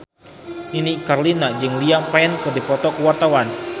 Nini Carlina jeung Liam Payne keur dipoto ku wartawan